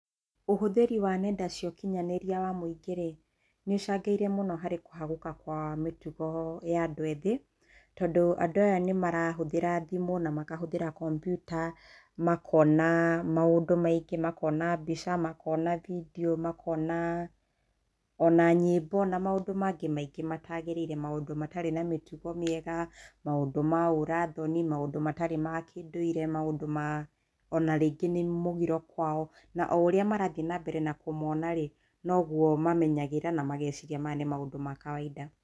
Ũhũthĩri wa nenda cia ũkinyanĩria cia mũingĩ-ri, nĩ icangĩire makĩria harĩ kũhagũka kwa mĩtugo ya andũ ethĩ. Tondũ andũ aya nĩ marahũthĩra thĩmũ na makahũthĩra kampyuta, makona maũndũ maingĩ, makona bindio, makona mbica makona nyĩmbo na maũndũ mangĩ maingĩ matagĩrĩirwo, maũndũ matarĩ na mĩtugo mĩega, maũndũ ma ũra thoni, maũndũ matarĩ ma kĩndũire, maũndũ ma, ona rĩngĩ nĩ mũgĩro kwao. Na ũria marathiĩ na mbere kũmona-rĩ, noguo mathiaga nambere kũmenyera na mageciria mau nĩ maũndũ ma kawaida.